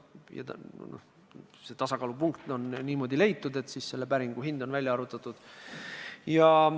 Ja see tasakaalupunkt on leitud niimoodi, et päringu hind on välja arvutatud.